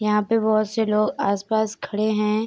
यहाँ पे बहोत से लोग आस-पास खड़े हैं।